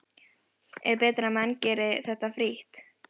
Er betra að menn geri þetta frítt?